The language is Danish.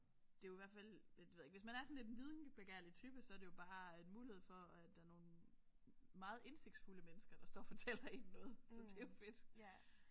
Det er jo i hvert fald lidt det ved jeg ikke hvis man er sådan lidt en videnbegærlig type så er det jo bare en mulighed for at der er nogle meget indsigtsfulde mennesker der står og fortæller en noget så det er jo fedt